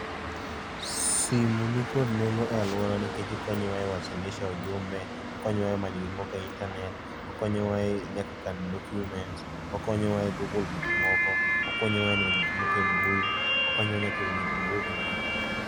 Simu ni kod nengo e alwora nikech okonyo wa e wasilisha ujumbe, okonyo wa e manyo gik moko e internet, okonyo wa e nyaka kano document, okonyo wa e google gik moko, okonyowa nyaka e neno gik moko e mbui, okonyo wa nyaka e wuoyo gi ji.